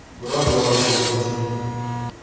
Bir oz yorug‘lik qo‘shing!